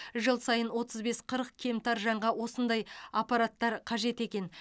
жыл сайын отыз бес қырық кемтар жанға осындай аппараттар қажет екен